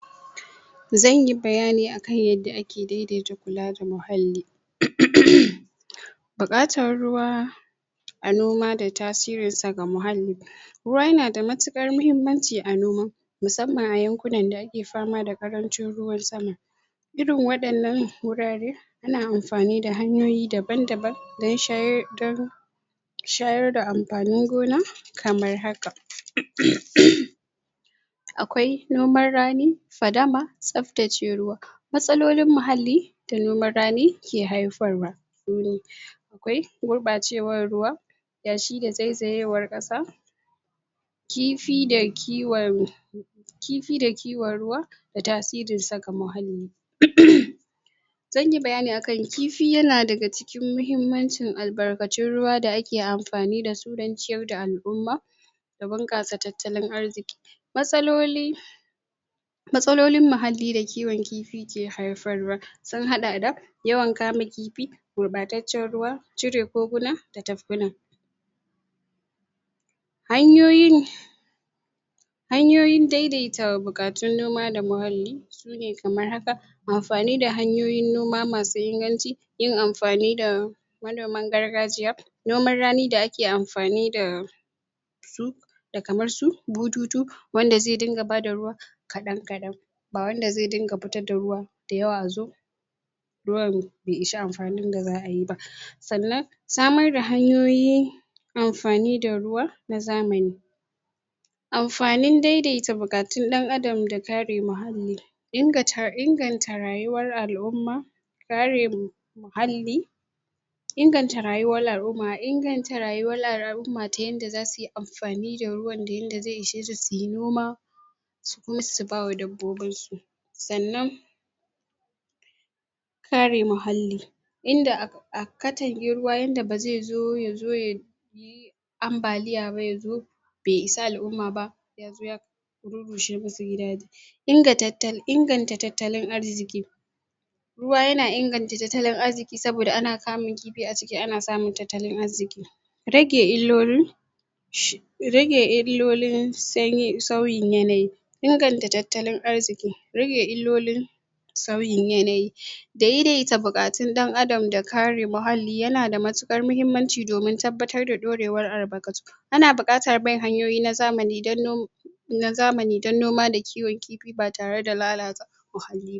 Zan yi bayani akan yadda ake daidaita kula da muhallali? buƙatar ruwa a noma da tasirinsa ga muhallali ruwa yana da matuƙar muhimmanci a noma musamman a yankunan da ake fama da ƙarancin ruwan sama irin waɗannan wurare suna amfani da hanyoyi daban-daban don shayar da don shayar da amfanin gona kamar haka:? akwai noman rani, fadama tsaftace ruwa matsalolin muhalli da noman rani ke haifarwa? akwai gurɓacewar ruwa yashi da zaizatewar ƙasa kifi da kiwon kifi da kiwon ruwa da tasirin ga muhalli? zan yi bayani akan kifi yana daga cikin muhimmancin albarkatun ruwa da ake amfani da su don ciyar da al'umma da bunƙasa tattalin arziƙi matsaloli matsalolin muhalli da kiwon kifi ke haifarwa sun haɗa da: yawan kama kifi gurɓataccen ruwa cire goguna da tafkuna hanyoyin hanyoyin daidaita buƙatun noma da muhalli su ne kamar haka: amfani da hanyoyin noma masu inganci yin amfani da manoman gargajiya noman rani da ake amfani da su da kamar su bututu wanda zai dinga bada ruwa kaɗan-kaɗan ba wanda zai dinga fitar da ruwa da yawa zu ruwan bai isa amfanin da za'ai ba sannan samar da hanyoyi amfani da ruwa na zamani amfanin daidaita buƙatun ɗan adam da kare muhalli ingata inganta rayuwar al'umma karem muhalli inganta rayuwar al'umma, inganta rayuwar al'umma ta yadda za sui amfani da ruwan da zai ishe su sui noma kuma su bawa dabbobinsu sannan kare muhalli inda a katange ruwa yadda ba zai zo ya zo ya yi ambaliya ba ya zo bai isa al'umma ba? rushe masu gidaje inganta tattalin arziƙi ruwa yana inganta tattalin arziƙi saboda ana kamun kifi a ciki ana samun tattalin arziƙi rage illolin? rage illolin sanyi sauyin yanayi inganta tattalin arziƙi rage illolin sauyin yanayi daidaita buƙatun ɗan adam da kare muhalli yana da mutuƙar muhimmanci domin tabbatar ɗorewar albarkatu ana buƙatar bin hanyoyi na zamani don no na zamani don noma da kiwon kifi ba tare da lalata muhalli ba